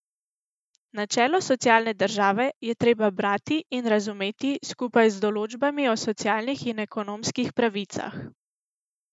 Načelo socialne države je treba brati in razumeti skupaj z določbami o socialnih in ekonomskih pravicah.